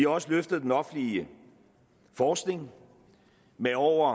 også løftet den offentlige forskning med over